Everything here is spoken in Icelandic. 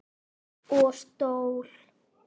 Og stól.